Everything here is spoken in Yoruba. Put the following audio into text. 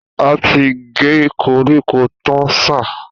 A ti gé koríko tán sà